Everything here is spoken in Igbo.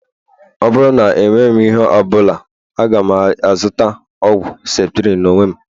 Ọ bụrụ na emeghị ihe ọ bụla, aga m azụta ọgwụ septrin n'onwe m